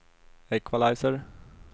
equalizer